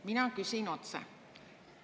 Ma küsin otse.